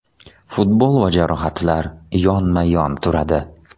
Futbol va jarohatlar yonma-yon turadi.